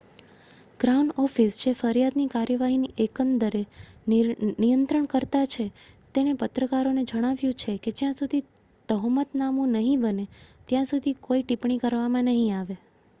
crown Office જે ફરિયાદની કાર્યવાહીની એકંદર નિયંત્રણકર્તા છે તેણે પત્રકારોને જણાવ્યું છે કે જ્યાં સુધી તહોમતનામું નહીં બને ત્યાં સુધી કોઈ ટિપ્પણી કરવામાં નહીં આવે